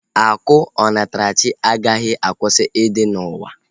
Akụ onatarachi agaghị akwụsị ịdị n'ụwa